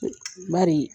Bari